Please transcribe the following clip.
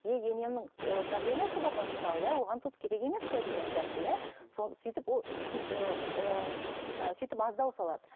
еее енемнің давлениесі бар ғой мысалы иә оған тұз керек емес қой деген сияқты иә мхм соны сөйтіп ол ыыы сөйтіп аздау салады